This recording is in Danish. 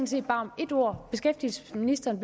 set bare om ét ord beskæftigelsesministeren